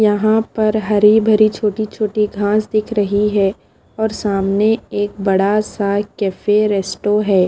यहाँ पर हरी-भरी छोटी-छोटी घास दिख रही है और सामने एक बड़ा सा कैफ़े रेस्टो है ।